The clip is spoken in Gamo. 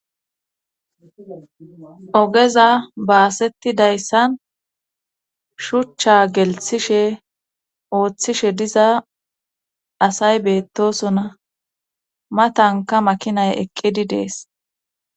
ogeza baasettidayssan shuchcha gelthishe ooththishe diza asay beettosona ma tanka makinay eqqidi dees